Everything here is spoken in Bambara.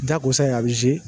Jakosa ye a bi .